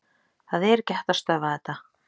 Það er ekki hægt að stöðva þetta.